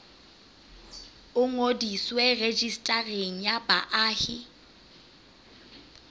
o ngodiswe rejistareng ya baahi